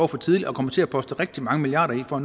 for tidligt og kommer til at poste rigtig mange milliarder i for